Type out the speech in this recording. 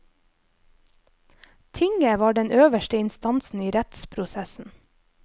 Tinget var den øverste instansen i rettsprosessen.